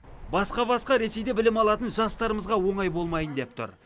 басқа басқа ресейде білім алатын жастарымызға оңай болмайын деп тұр